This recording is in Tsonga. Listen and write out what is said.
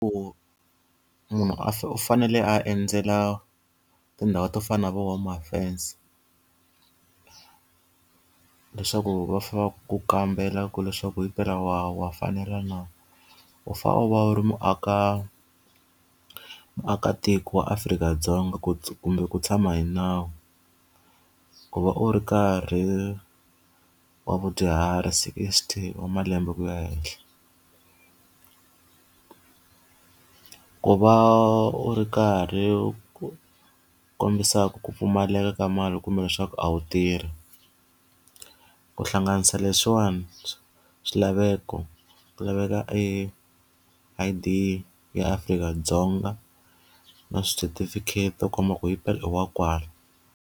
Ku munhu a u fanele a endzela tindhawu to fana na vo home affairs leswaku va fanele va ku kambela ku leswaku himpela wa wa fanela na. U fanele u va u ri muakatiko wa Afrika-Dzonga ku kumbe ku tshama hi nawu. Ku va u ri karhi wa vadyuhari sixty wa malembe ku ya henhla. Ku va u ri karhi u kombisa ku pfumaleka ka mali kumbe leswaku a wu tirhi. Ku hlanganisa leswiwani swilaveko ku laveka e I_D ya Afrika-Dzonga na swi certificate u komba ku himpela i wa kwala.